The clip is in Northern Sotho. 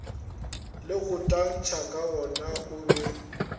le go tantsha kagona obe